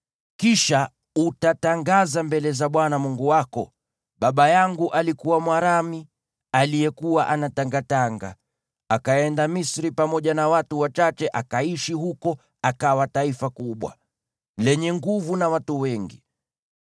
Kisha utatangaza mbele za Bwana Mungu wako: “Baba yangu alikuwa Mwaramu aliyekuwa anatangatanga, akaenda Misri pamoja na watu wachache, akaishi huko hadi akawa taifa kubwa, lenye nguvu na watu wengi.